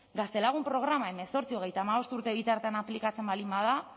gaztelagun programa hemezortzi hogeita hamabost urte bitartean aplikatzen baldin bada